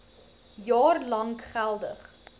jaar lank geldig